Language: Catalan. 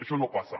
això no passa